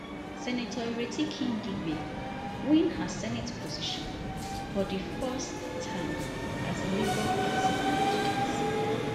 senator ireti kingibe win her senate position for di first time as labour party candidate